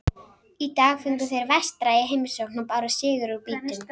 Í dag fengu þeir Vestra í heimsókn og báru sigur úr býtum.